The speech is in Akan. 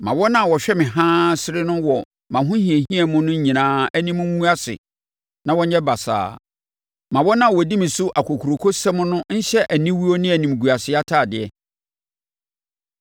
Ma wɔn a wɔhwɛ me haa sere me wɔ mʼahohiahia mu no nyinaa anim ngu ase na wɔnyɛ basaa; ma wɔn a wɔdi me so akokurokosɛm no nhyɛ aniwuo ne animguaseɛ atadeɛ.